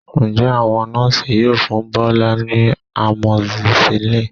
Ǹjẹ́ àwọn Nọ́ọ̀sì yóò fún Bọ́lá ní amoxicillin?